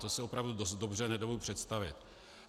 To si opravdu dost dobře nedovedu představit.